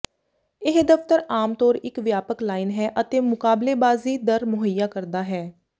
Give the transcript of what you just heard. ਇਹ ਦਫ਼ਤਰ ਆਮ ਤੌਰ ਇੱਕ ਵਿਆਪਕ ਲਾਈਨ ਹੈ ਅਤੇ ਮੁਕਾਬਲੇਬਾਜ਼ੀ ਦਰ ਮੁਹੱਈਆ ਕਰਦਾ ਹੈ